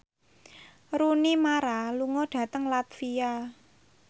Rooney Mara lunga dhateng latvia